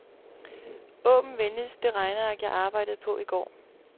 Åbn venligst det regneark jeg arbejdede på i går.